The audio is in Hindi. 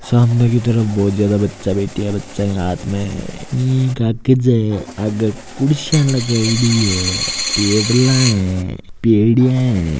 सामने की तरफ बोहोत ज्यादा बच्चे बैठे है बच्चा के हाथ में इ कागज है आगे कुर्सियां लगायेडी है टेबला है पेड़िया है।